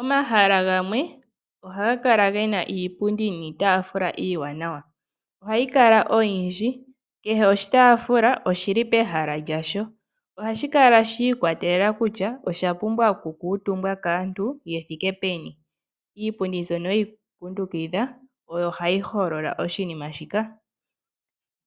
Omahala gamwe ohaga kala ge na iipundi niitafula iiwanawa, ohayi kala oyindhi kehe oshitafula oshili pehala lyasho, ohashi kala shiikwatelela kutya osha pumbwa okukutumbwa kaantu ye thike peni, iipundi mbyono yeyi kundukidha oyo hayi holola oshinima shika.